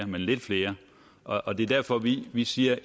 men lidt flere og det er derfor vi vi siger